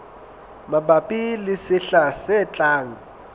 mabapi le sehla se tlang